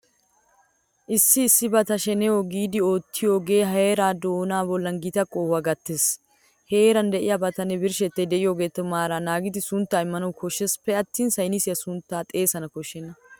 Issi issibata shenehoo giidi oottiyogee heeraa doonaa bollan gita qohuwa gattees. Heeran de'iyabatanne birshshettay de'iyogeeta maaraa naagidi sunttaa immana koshsheesippe attin saynisiya sunttan xeesana koshshenna.